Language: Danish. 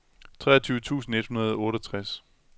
treogtyve tusind et hundrede og otteogtres